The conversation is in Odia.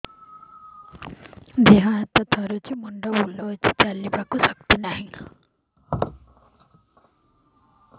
ଦେହ ହାତ ଥରୁଛି ମୁଣ୍ଡ ବୁଲଉଛି ଚାଲିବାକୁ ଶକ୍ତି ନାହିଁ